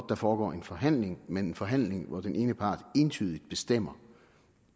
der foregår en forhandling men en forhandling hvor den ene part entydigt bestemmer